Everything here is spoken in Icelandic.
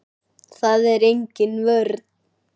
Það er engin vörn.